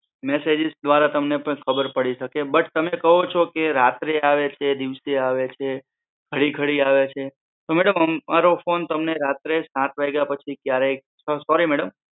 messages દ્વારા તમને પણ ખબર પડી શકે છે બટ તમે કહો છો કે રાત્રે આવે છે દિવસે આવે છે ઘડી ઘડી આવે છે તો મેડમ અમારો ફોન તમને રાત્રે સાત વાગ્યા પછી ક્યારે, સોરી મેડમ